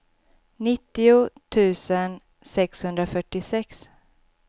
nittio tusen sexhundrafyrtiosex